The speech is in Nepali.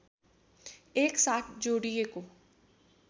एक साथ जोडिएको